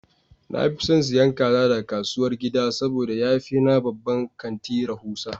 Na fi son siyan kaza daga kasuwar gida saboda ya fi na babban kanti rahusa.